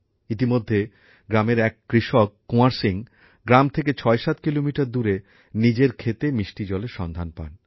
ইতোমধ্যে গ্রামের এক কৃষক কুঁয়ার সিং গ্রাম থেকে ছয়সাত কিলোমিটার দূরে নিজের ক্ষেতে মিষ্টি জলের সন্ধান পান